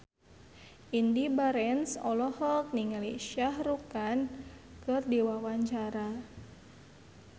Indy Barens olohok ningali Shah Rukh Khan keur diwawancara